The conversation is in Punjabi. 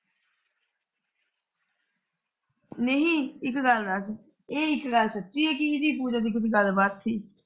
ਨਹੀਂ ਇੱਕ ਗੱਲ ਦੱਸ ਇਹ ਇੱਕ ਗੱਲ ਸੱਚੀ ਏ ਕੀ ਇਹਦੀ ਪੂਜਾ ਦੀ ਕੁੱਝ ਗੱਲਬਾਤ ਸੀ।